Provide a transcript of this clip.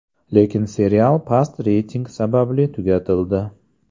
Lekin serial past reyting sababli tugatildi.